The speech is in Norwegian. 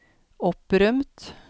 opprømt